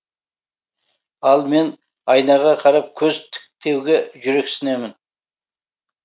ал мен айнаға қарап көз тіктеуге жүрексінемін